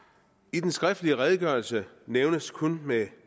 i den skriftlige redegørelse nævnes kun med